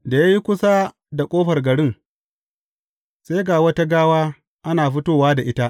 Da ya yi kusa da ƙofar garin, sai ga wata gawa ana fitowa da ita.